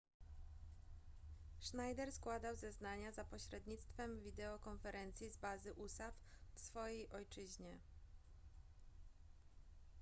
schneider składał zeznania za pośrednictwem wideokonferencji z bazy usaf w swojej ojczyźnie